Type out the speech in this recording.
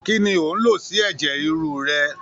Kí ni ò ń lò sí ẹ̀jẹ̀ ríru rẹ?